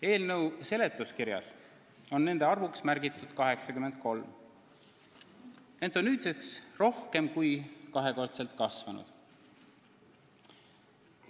Eelnõu seletuskirjas on nende arvuks märgitud 83, aga see on nüüdseks rohkem kui kahekordseks kasvanud.